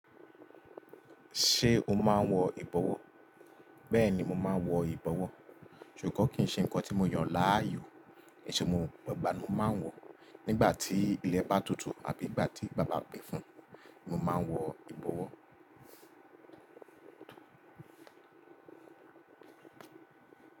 Ṣé o máa ń wọ ìbọwọ́? Bẹ́ẹ̀ni mo máa ń wọ ìbọ́wọ̀, ṣùgbọ́n kì í ṣe ǹkan tí mo yàn láàyò, è ṣì mo mọ̀gbà tí mo máa ń wọ. Nígbà tí ilẹ̀ bá tutù àbí ìgbà tí bàbá gbìn fún, mo máa ń wọ ìbọwọ́.